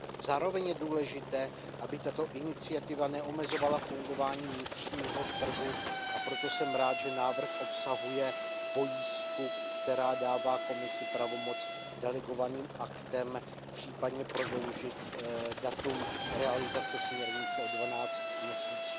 Zároveň je důležité, aby tato iniciativa neomezovala fungování vnitřního trhu, a proto jsem rád, že návrh obsahuje pojistku, která dává Komisi pravomoc delegovaným aktem případně prodloužit datum realizace směrnice o dvanáct měsíců.